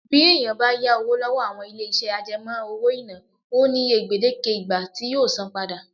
Bí èèyàn bá yá owó lọ́wọ́ àwọn ilé-iṣẹ́ àjẹmọ́ owó-ìná, ó ní iye gbèdéke ìgbà tí yóò san án padà